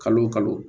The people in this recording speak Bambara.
Kalo o kalo